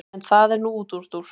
en það er nú útúrdúr